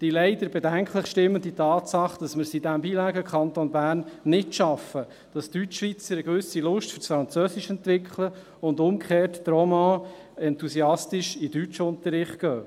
die leider bedenklich stimmende Tatsache, dass wir es in diesem bilinguen Kanton Bern nicht schaffen, dass die Deutschschweizer eine gewisse Lust fürs Französisch entwickeln, und umgekehrt, die Romands enthusiastisch in den Deutschunterricht gehen.